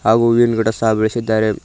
ಹಾಗೂ ಹೂವಿನ್ ಗಿಡ ಸಹ ಬೆಳಸಿದ್ದಾರೆ.